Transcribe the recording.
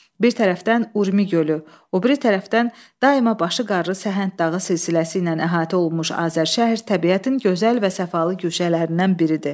Bir tərəfdən Urmi gölü, o biri tərəfdən daima başı qarlı Səhənd dağı silsiləsi ilə əhatə olunmuş Azərşəhər təbiətin gözəl və səfalı güşələrindən biridir.